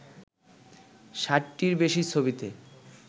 ৬০টির বেশি ছবিতে